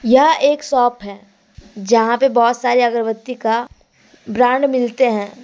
यह एक शॉप है जहां पे बहुत सारे अगरबत्ती का ब्रांड मिलते हैं।